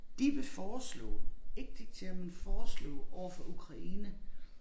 De vil foreslå ikke diktere men foreslå overfor Ukraine